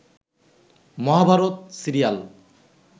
Mahabharata serial